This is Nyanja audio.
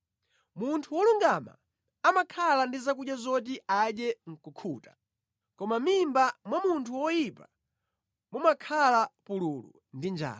Munthu wolungama amakhala ndi zakudya zoti adye nʼkukhuta, koma mʼmimba mwa munthu woyipa mumakhala pululu ndi njala.